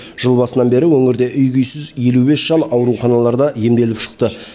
жыл басынан бері өңірде үй күйсіз елу бес жан ауруханаларда емделіп шықты